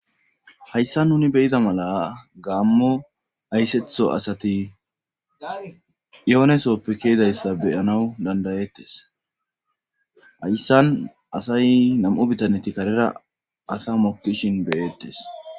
Hayssa nuni beyida mala gaammo ayssetho asati yoonesoppe kiidayssa beyanawu dandayettes hayssan asay nam'u bitaneti karera asa mokkishin beyettes.